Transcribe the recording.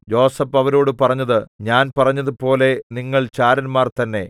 യോസേഫ് അവരോടു പറഞ്ഞത് ഞാൻ പറഞ്ഞതുപോലെ നിങ്ങൾ ചാരന്മാർ തന്നെ